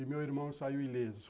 E meu irmão saiu ileso.